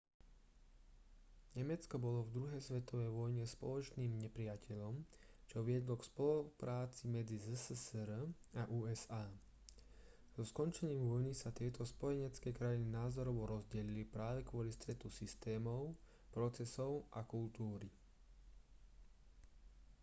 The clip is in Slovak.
nemecko bolo v druhej svetovej vojne spoločným nepriateľom čo viedlo k spolupráci medzi zssr a usa so skončením vojny sa tieto spojenecké krajiny názorovo rozdelili práve kvôli stretu systémov procesov a kultúry